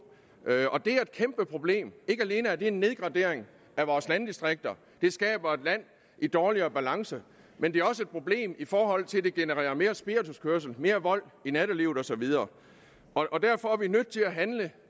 det er et kæmpeproblem ikke alene er det en nedgradering af vores landdistrikter og det skaber et land i dårligere balance men det er også et problem i forhold til at det genererer mere spirituskørsel mere vold i nattelivet og så videre derfor er vi nødt til at handle